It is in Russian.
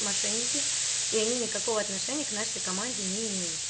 мошенники и они никакого отношения к нашей команде не имеют